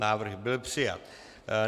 Návrh byl přijat.